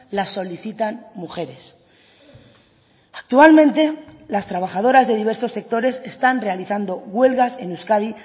las solicitan mujeres actualmente las trabajadoras de diversos sectores están realizando huelgas en euskadi